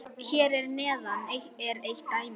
Hér að neðan er eitt dæmi: